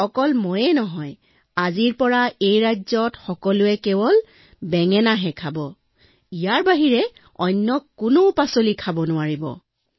আৰু কেৱল তেওঁৱেই নহয় ৰাজ্যত কেৱল বেঙেনাই ৰন্ধা হব অন্য শাকপাচলি ৰন্ধা নহব